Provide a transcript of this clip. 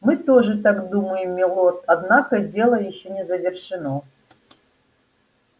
мы тоже так думаем милорд однако дело ещё не завершено